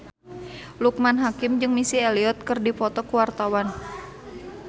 Loekman Hakim jeung Missy Elliott keur dipoto ku wartawan